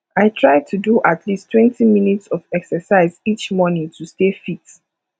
i try to do at leasttwentyminutes of exercise each morning to stay fit